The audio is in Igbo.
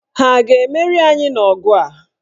Ha a ga-emeri anyị n'ọgụ a?